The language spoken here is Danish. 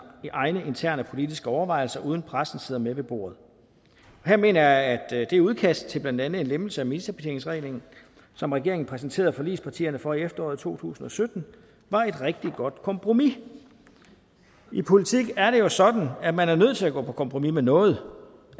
egne interne politiske overvejelser uden at pressen sidder med ved bordet og her mener jeg at det udkast til blandt andet en lempelse af ministerbetjeningsreglen som regeringen præsenterede forligspartierne for i efteråret to tusind og sytten var et rigtig godt kompromis i politik er det jo sådan at man er nødt til at gå på kompromis med noget